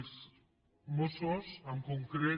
els mossos en concret